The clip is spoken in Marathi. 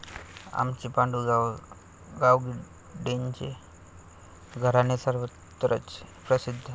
आमचे पांडु गावडेंचे घराणे सर्वत्रच प्रसिद्ध.